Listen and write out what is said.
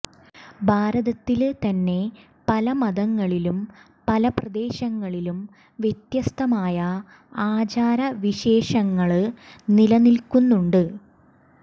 ഭാരതത്തില് തന്നെ പല മതങ്ങളിലും പല പ്രദേശങ്ങളിലും വ്യത്യസ്തമായ ആചാര വിശേഷങ്ങള് നിലനില്ക്കുന്നുണ്ട്